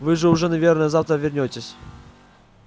вы же уже наверное завтра вернётесь